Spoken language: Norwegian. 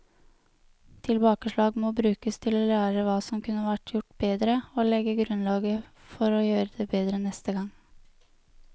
Tilbakeslag må brukes til å lære hva som kunne vært gjort bedre, og legge grunnlaget for å gjøre det bedre neste gang.